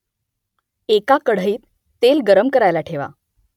एका कढईत तेल गरम करायला ठेवा